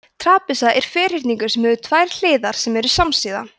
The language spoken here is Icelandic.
trapisa er ferhyrningur sem hefur tvær hliðar sem eru samsíða